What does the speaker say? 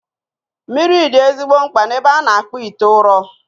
Mmiri dị ezigbo mkpa n'ebe a na-akpụ ite ụrọ